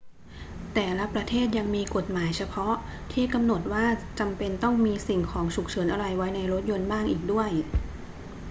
แต่ละประเทศยังมีกฎหมายเฉพาะที่กำหนดว่าจำเป็นต้องมีสิ่งของฉุกเฉินอะไรไว้รถยนต์บ้างอีกด้วย